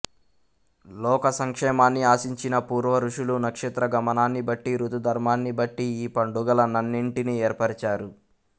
లోక సంక్షేమాన్ని ఆశించిన పూర్వఋషులు నక్షత్రగమనాన్ని బట్టి ఋతుధర్మాన్ని బట్టి ఈ పండుగల నన్నింటినీ ఏర్పరచారు